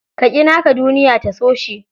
Ka ƙi naka duniya ta so shi.